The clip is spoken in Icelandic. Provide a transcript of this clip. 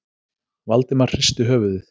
Valdimar hristi höfuðið.